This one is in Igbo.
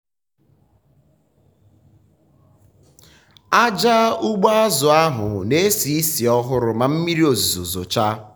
aja ugbo azụ ụlọ na-esi ísì ọhụrụ ma mmiri ozizo zochaa.